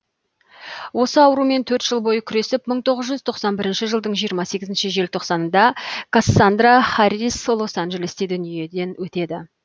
осы аурумен төрт жыл бойы күресіп мың тоғыз жүз тоқсан бірінші жылдың жиырма сегіз желтоқсанында кассандра харрис лос анжелесте дүниеден өтеді